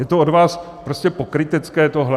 Je to od vás prostě pokrytecké, tohle!